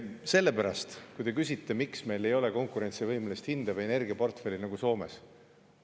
Te küsisite, miks meil ei ole konkurentsivõimelist hinda või energiaportfelli nagu Soomes.